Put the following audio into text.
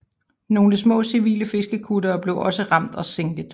Nogle små civile fiskekuttere blev også ramt og sænket